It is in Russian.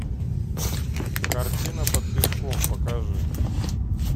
картина под песком покажи